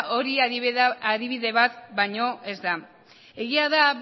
hori adibide bat baino ez da egia da